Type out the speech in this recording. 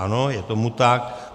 Ano, je tomu tak.